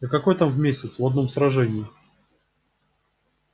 да какое там в месяц в одном сражении